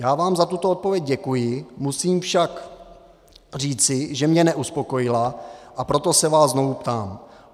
Já vám za tuto odpověď děkuji, musím však říci, že mě neuspokojila, a proto se vás znovu ptám.